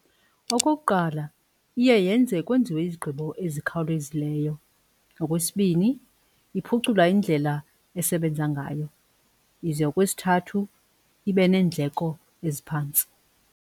Okokuqala iye yenze kwenziwe izigqibo ezikhawulezileyo. Okwesibini iphucula indlela esebenza ngayo ize okwesithathu ibeneendleko eziphantsi.